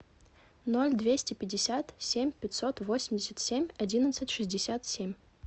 ноль двести пятьдесят семь пятьсот восемьдесят семь одиннадцать шестьдесят семь